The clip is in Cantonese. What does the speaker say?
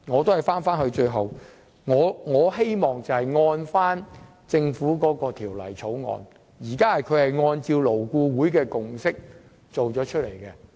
最後，我支持政府提出的《條例草案》，按照勞顧會的共識，集中做好這項建議。